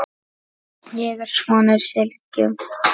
Ég er sonur Sylgju